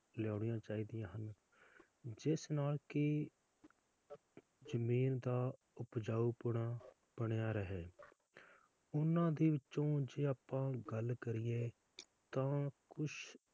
ਲਿਆਉਣੀਆਂ ਚਾਹੀਦੀਆਂ ਹਨ ਜਿਸ ਨਾਲ ਕੀ ਜਮੀਨ ਦਾ ਉਪਜਾਊਪਣ ਬਣਿਆ ਰਹੇ ਓਹਨਾ ਦੇ ਵਿਚੋਂ ਜੇ ਆਪਾਂ ਗੱਲ ਕਰੀਏ ਤਾ ਕੁਛ,